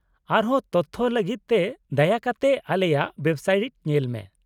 -ᱟᱨᱦᱚᱸ ᱛᱚᱛᱷᱚ ᱞᱟᱹᱜᱤᱫ ᱛᱮ ᱫᱟᱭᱟ ᱠᱟᱛᱮ ᱟᱞᱮᱭᱟᱜ ᱳᱭᱮᱵᱥᱟᱭᱤᱴ ᱧᱮᱞ ᱢᱮ ᱾